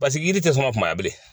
Pasiki yiri tɛ sɔn ka kubaya bilen.